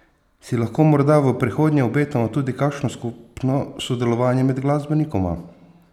Si lahko morda v prihodnje obetamo tudi kakšno skupno sodelovanje med glasbenikoma?